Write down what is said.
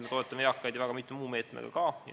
Me toetame eakaid ju väga mitme muu meetmega ka.